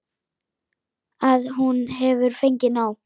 Að hún hefur fengið nóg.